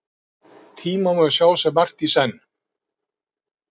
Tíma má sjá sem margt í senn.